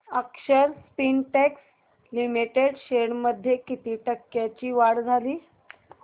अक्षर Spintex limited shares मध्ये किती टक्क्यांची वाढ झाली